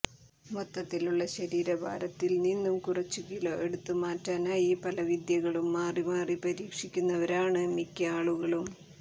മൊത്തത്തിലുള്ള ശരീരഭാരത്തിൽ നിന്ന് കുറച്ചു കിലോ എടുത്തു മാറ്റാനായി പല വിദ്യകളും മാറിമാറി പരീക്ഷിക്കുന്നവരാണ് മിക്ക ആളുകളും